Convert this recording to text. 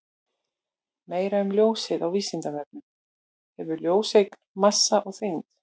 Meira um ljósið á Vísindavefnum: Hefur ljóseind massa og þyngd?